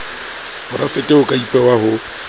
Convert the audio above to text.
porafete ho ka ipehwa ho